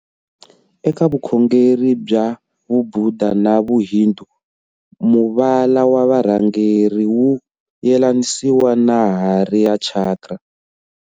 Eka vukhongeri bya vubhuda na vu hindu muvala wa varhangeri wu yelanisiwa na hari ya Chakra.